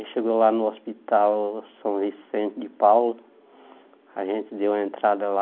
Aí chegou lá no hospital São Vicente de Paulo, a gente deu a entrada lá.